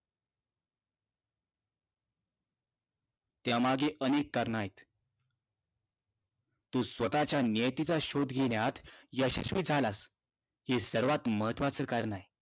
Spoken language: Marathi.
त्यामागे अनेक कारणं आहेत. तू स्वतःच्या नियतीचा शोध घेण्यास यशस्वी झालास, हे सर्वांत महत्त्वाचं कारण आहे.